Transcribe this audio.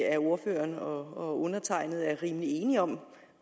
at ordføreren og og undertegnede er rimelig enige om